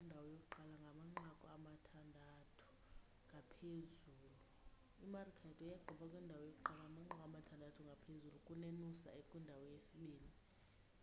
imaroochydore yagqiba ikwindawo yokuqala ngamanqaku amathandathu ngaphezulu kunenoosa ekwindawo yesibinini